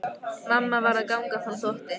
Mamma var að ganga frá þvotti.